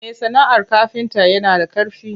Me sana'ar kafinta yana da ƙarfi.